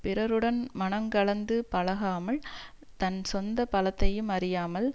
பிறருடன் மனங்கலந்து பழகாமல் தன் சொந்த பலத்தையும் அறியாமல்